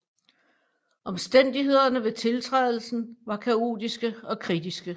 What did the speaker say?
Omstændighederne ved tiltrædelsen var kaotiske og kritiske